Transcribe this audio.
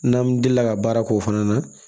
N'an delila ka baara k'o fana na